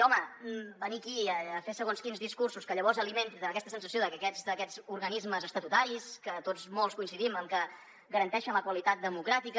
home venir aquí a fer segons quins discursos que llavors alimenten aquesta sensació de que aquests organismes estatutaris que tots molts coincidim amb que garanteixen la qualitat democràtica